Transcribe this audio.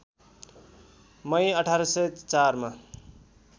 मई १८०४ मा